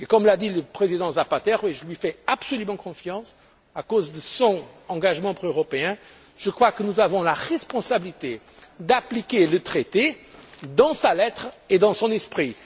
Et, comme l'a dit le président Zapatero, et je lui fais absolument confiance, en raison de son engagement proeuropéen, je crois que nous avons la responsabilité d'appliquer le Traité dans sa lettre et dans son